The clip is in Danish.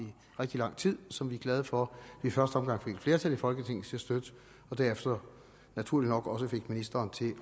rigtig lang tid som vi er glade for at vi i første omgang fik et flertal i folketinget til at støtte og derefter naturligt nok også fik ministeren til